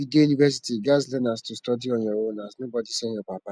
if u dey university u ghas learn as to study on ur own as nobody send ur papa